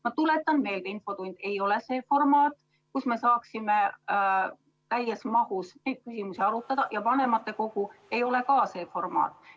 Ma tuletan meelde, et infotund ei ole see formaat, kus me saaksime täies mahus neid küsimusi arutada, ja vanematekogu ei ole ka see formaat.